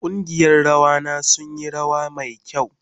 Kungiyan rawa na sun yi rawa mai kyau.